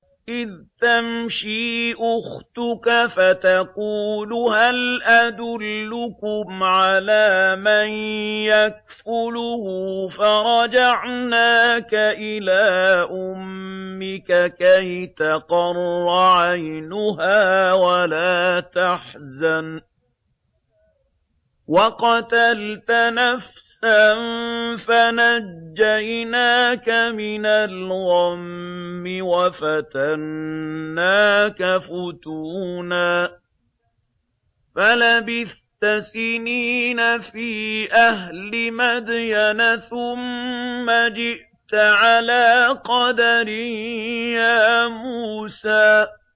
إِذْ تَمْشِي أُخْتُكَ فَتَقُولُ هَلْ أَدُلُّكُمْ عَلَىٰ مَن يَكْفُلُهُ ۖ فَرَجَعْنَاكَ إِلَىٰ أُمِّكَ كَيْ تَقَرَّ عَيْنُهَا وَلَا تَحْزَنَ ۚ وَقَتَلْتَ نَفْسًا فَنَجَّيْنَاكَ مِنَ الْغَمِّ وَفَتَنَّاكَ فُتُونًا ۚ فَلَبِثْتَ سِنِينَ فِي أَهْلِ مَدْيَنَ ثُمَّ جِئْتَ عَلَىٰ قَدَرٍ يَا مُوسَىٰ